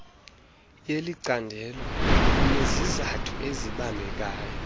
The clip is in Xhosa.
yelicandelo unezizathu ezibambekayo